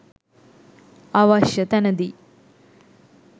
අවශ්‍ය තැනදී